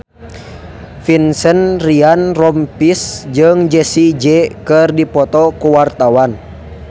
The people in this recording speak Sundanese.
Vincent Ryan Rompies jeung Jessie J keur dipoto ku wartawan